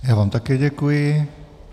Já vám také děkuji.